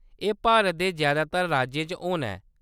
एह्‌‌ भारत दे जैदातर राज्यें च होना ऐ।